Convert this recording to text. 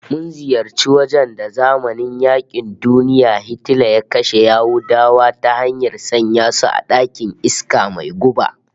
Mun ziyarci wajen da a zamanin yaƙin duniya Hitler ya kashe Yahudawa ta hanyar sanya su a ɗakin iska mai guba